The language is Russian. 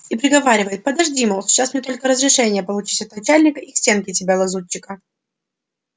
и приговаривает подожди мол сейчас мне только разрешение получить от начальника и к стенке тебя лазутчика